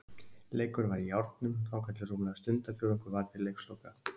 Leikurinn var í járnum þangað til rúmlega stundarfjórðungur var til leiksloka.